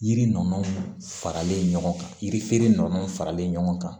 Yiri nɔnɔ faralen ɲɔgɔn kan yiri feere nɔnɔw faralen ɲɔgɔn kan